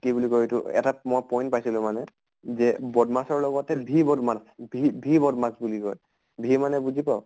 কি বুলি অয় এইটো এটাত মই point পাইছিলো মানে BODMAS ৰ লগতে VBODMAS v v BODMAS বুলি কয়। v মানে বুজি পাঅʼ?